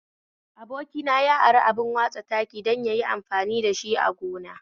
Abokina ya ari abin watsa taki don yayi amfani dashi a gonarsa